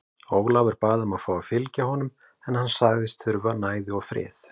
Ólafur bað um að fá að fylgja honum en hann sagðist þurfa næði og frið.